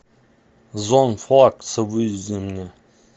эон флакс выведи мне